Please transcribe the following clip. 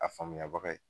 A faamuya baga ye